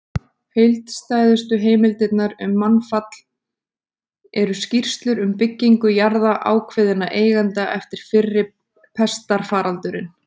Heildstæðustu heimildirnar um mannfall eru skýrslur um byggingu jarða ákveðinna eigenda eftir fyrri pestarfaraldurinn.